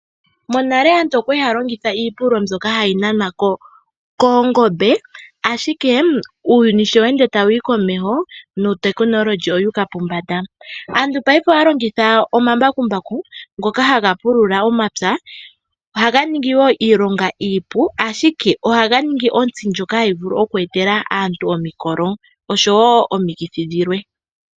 Monale aantu okwali haya longitha iipululo mbyoka hayi nanwa koongombe ashike uuyuni sho tawu ende tawu yi komeho nuutekinolohi owu uka pombanda. Aantu payife ohaya longitha omambakumbaku ngoka haga pulula omapya. Ohaga ningi woo iilonga iipu ashike ohaga ningi onsti ndjoka hayi vulu oku etela aantu omikolo oshowo omikithi dhimwe.